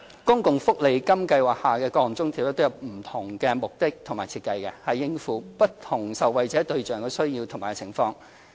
公共福利金計劃下的各項津貼都有不同目的和設計，以應付其不同受惠對象的需要及情況。